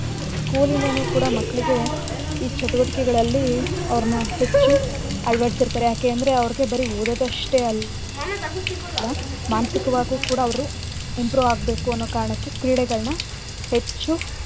School ಯಿಂದನೂ ಕೂಡ ಮಕ್ಕ್ಳಿಗೆ ಈ ಚಟುವಟಿಕೆಗಳಲ್ಲಿ ಅವ್ರ್ನ ಹೆಚ್ಚು ಅಳ್ವ ಡಿಸಿರ್ತರೆ ಯಾಕೇಂದ್ರೆ ಅವ್ರ್ಗೆ ಬರೀ ಓದೋದಷ್ಟೇ ಅಲ್ಲಾ ಮಾನಸಿಕವಾಗೂ ಕೂಡ ಅವ್ರು improve ಆಗ್ಬೇಕು ಅನ್ನೋ ಕಾರಣಕ್ಕೆ ಕ್ರೀಡೆಗ್ಳ್ನ ಹೆಚ್ಚು.